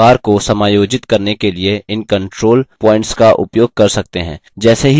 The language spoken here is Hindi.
हम आयत के आकार को समायोजित करने के लिए इन control प्वॉइन्टस का उपयोग कर सकते हैं